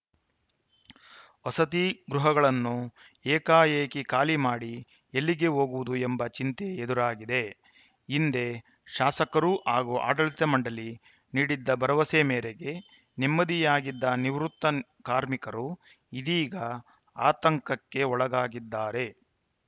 ವಸತಿ ಗೃಹಗಳನ್ನು ಏಕಾಏಕಿ ಖಾಲಿ ಮಾಡಿ ಎಲ್ಲಿಗೆ ಹೋಗುವುದು ಎಂಬ ಚಿಂತೆ ಎದುರಾಗಿದೆ ಹಿಂದೆ ಶಾಸಕರು ಹಾಗೂ ಆಡಳಿತ ಮಂಡಳಿ ನೀಡಿದ್ದ ಭರವಸೆ ಮೇರೆಗೆ ನೆಮ್ಮದಿಯಾಗಿದ್ದ ನಿವೃತ್ತ ಕಾರ್ಮಿಕರು ಇದೀಗ ಆತಂಕಕ್ಕೆ ಒಳಗಾಗಿದ್ದಾರೆ